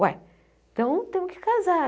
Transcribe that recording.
Uai, então temos que casar.